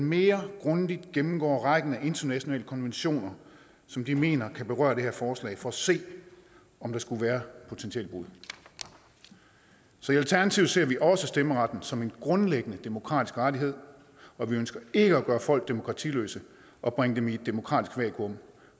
mere grundigt gennemgår rækken af internationale konventioner som de mener kan berøre det her forslag for at se om der skulle være potentielle brud så i alternativet ser vi også stemmeretten som en grundlæggende demokratisk rettighed og vi ønsker ikke at gøre folk demokratiløse og bringe dem i et demokratisk vakuum